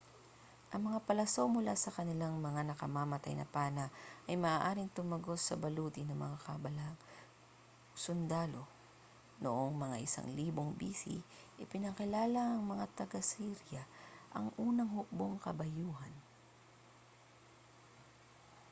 ang mga palaso mula sa kanilang mga nakamamatay na pana ay maaaring tumagos sa baluti ng mga kalabang sundalo noong mga 1000 b.c. ipinakilala ng mga taga-assyria ang unang hukbong-kabayuhan